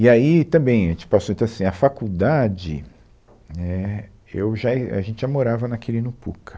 E aí, também, a gente passou, então assim, a faculdade, né, eu já, a gente já morava na Quirino Pucca.